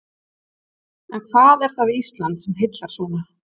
En hvað er það við Ísland sem heillar svona?